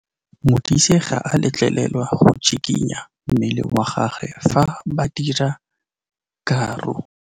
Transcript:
Modise ga a letlelelwa go tshikinya mmele wa gagwe fa ba dira karô.